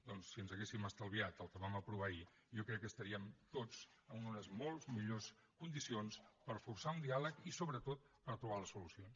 doncs si ens haguéssim estalviat el que vam aprovar ahir jo crec que estaríem tots en unes molt millors condicions per forçar un diàleg i sobretot per trobar les solucions